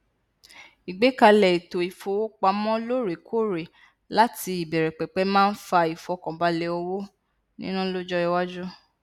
igbekalẹ ètò ìfowópamọ loorekoore láti ìbẹrẹpẹpẹ máa n fa ìfọkànbalẹ owo nina lọjọiwáju